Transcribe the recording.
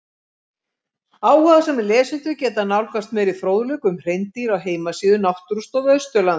Áhugasamir lesendur geta nálgast meiri fróðleik um hreindýr á heimasíðu Náttúrustofu Austurlands.